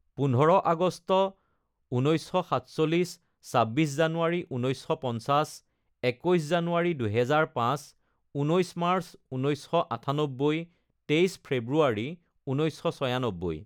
পোন্ধৰ আগষ্ট ঊনৈছশ সাতচল্লিছ, ছাব্বিছ জানুৱাৰী ঊনৈছশ পঞ্চাছ, একৈছ জানুৱাৰী দুহেজাৰ পাঁচ, ঊনৈছ মাৰ্চ ঊনৈছশ আঠান্নব্বৈ, তেইছ ফেব্ৰুৱাৰী ঊনৈছশ ছয়ানব্বৈ